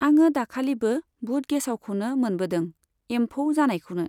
आङो दाखालिबो बुट गेसावखौनो मोनबोदों, एम्फौ जानायखौनो।